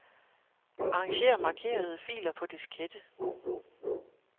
Arranger markerede filer på diskette.